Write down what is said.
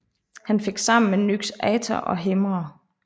Han fik sammen med Nyx Aither og Hemera